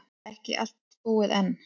Ekki allt búið enn.